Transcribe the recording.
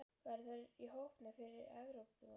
Verða þeir í hópnum fyrir Evrópumótið?